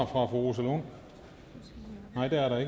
rosa lund nej det er der